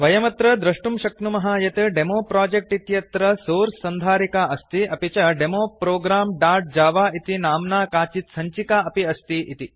वयमत्र दृष्टुं शक्नुमः यत् डेमोप्रोजेक्ट् इत्यत्र सोर्स् सन्धारिका अस्ति अपि च डेमो programजव इति नाम्ना काचित् सञ्चिका अपि अस्ति इति